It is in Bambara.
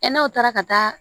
E n'aw taara ka taa